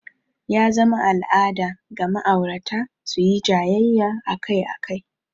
Ya zama al'ada ga ma'aurata su yi jayayya akai-akai.